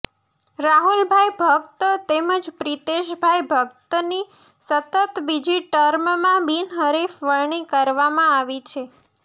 રાહુલભાઇ ભકત તેમજ પ્રિતેશભાઇ ભકતની સતત બીજી ટર્મમાં બિનહરીફ વરણી કરવામાં આવી છે